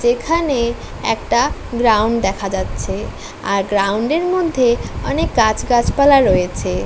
যেখানে একটা গ্রাউন্ড দেখা যাচ্ছে। আর গ্রাউন্ড এর মধ্যে অনেক গাছ গাছপালা রয়েছে।